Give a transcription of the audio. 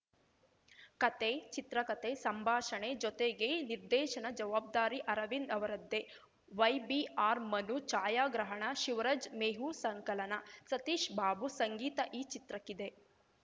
ಕತೆ ಚಿತ್ರಕತೆ ಸಂಭಾಷಣೆ ಜೊತೆಗೆ ನಿರ್ದೇಶನದ ಜವಾಬ್ದಾರಿ ಅರವಿಂದ್‌ ಅವರದ್ದೇ ವೈಬಿಆರ್‌ ಮನು ಛಾಯಾಗ್ರಹಣ ಶಿವರಾಜ್‌ ಮೇಹು ಸಂಕಲನ ಸತೀಶ್‌ ಬಾಬು ಸಂಗೀತ ಈ ಚಿತ್ರಕ್ಕಿದೆ